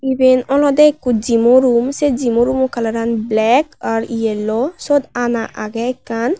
iben olode ekko jimo rum se jimo rumo kalaran blek ar yello siyot ana agey ekkan.